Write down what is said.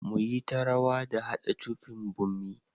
Mu yi ta rawa da hada cufin bommi.